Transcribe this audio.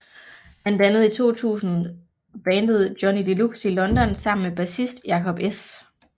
Han dannede i 2000 bandet Johnny Deluxe i London sammen med bassist Jakob S